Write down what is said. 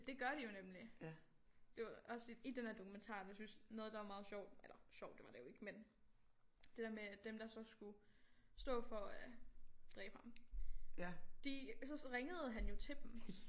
Det gør de jo nemlig det var også i i den der dokumentar jeg synes noget der var meget sjovt eller sjovt det var det jo ikke men det der med at dem der så skulle stå for at dræbe ham de så så ringede han jo til dem